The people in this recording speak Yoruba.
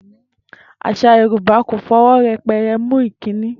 Às̩à Yorùbá kò fi o̩wó̩ ye̩pe̩re̩ mú ìkíni